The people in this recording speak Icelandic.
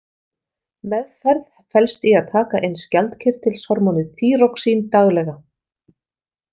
Meðferð felst í að taka inn skjaldkirtilshormónið þýroxín daglega.